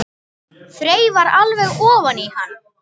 Þreifar alveg ofan í hann.